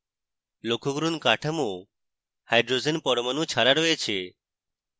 লক্ষ্য করুন কাঠামো hydrogen পরমাণু ছাড়া রয়েছে